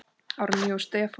Árný og Stefán.